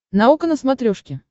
наука на смотрешке